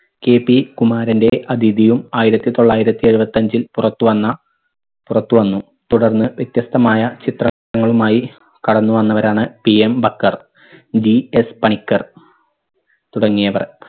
KP കുമാരന്റെ അഥിതിയും ആയിരത്തി തൊള്ളായിരത്തി എഴുപത്തഞ്ചിൽ പുറത്തുവന്ന പുറത്തുവന്നു. തുടർന്ന് വ്യത്യസ്‌തമായ ചിത്രങ്ങളുമായി കടന്നുവന്നവരാണ് PM ബക്കർ GS പണിക്കർ തുടങ്ങിയവർ